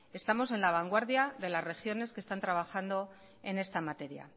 estamos en la vanguardia de las regiones que están trabajando en esta materia